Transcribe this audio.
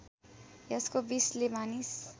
यसको विषले मानिस